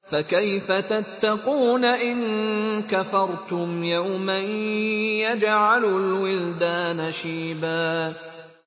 فَكَيْفَ تَتَّقُونَ إِن كَفَرْتُمْ يَوْمًا يَجْعَلُ الْوِلْدَانَ شِيبًا